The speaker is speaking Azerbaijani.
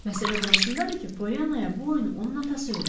Məsələ burasındadır ki, Polyanaya bu oyunu onun atası öyrədib.